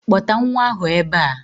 Kpọta nwa ahụ ebe a!